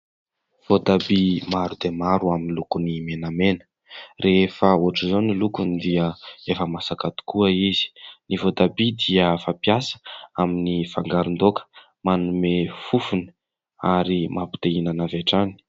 Voatabia maro dia maro amin'ny lokony menamena, rehefa ohatran' izao ny lokony dia efa masaka tokoa izy. Ny voatabia dia fampiasa amin'ny fangaron-daoka, manome fofony ary mampite-hihinana avy hatrany.